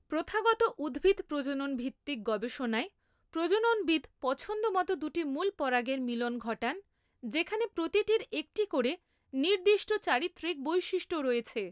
প্রথাগত উদ্ভিদ প্রজনন ভিত্তিক গবেষণায়, প্রজননবিদ পছন্দমতো দুটি মূল পরাগের মিলন ঘটান যেখানে প্রতিটির একটি করে নির্দিষ্ট চারিত্রিক বৈশিষ্ট্য রয়েছে।